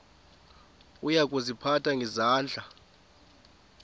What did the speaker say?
uya kuziphatha ngendlela